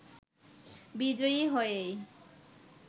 বিজয়ী হয়েই